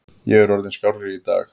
Ég er orðinn skárri í dag.